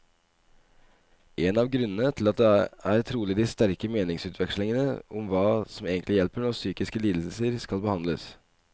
En av grunnene til det er trolig de sterke meningsutvekslingene om hva som egentlig hjelper når psykiske lidelser skal behandles.